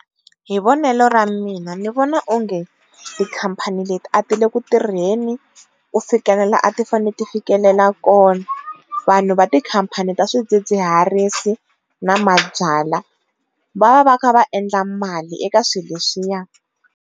Hi vonelo ra mina ni vona onge tikhampani leti a tile ku tirheni ku fikelela la a ti fane ti fikelela kona, vanhu va tikhampani ta swidzidziharisi na mabyalwa va va va kha vaendla mali eka swi leswiyani.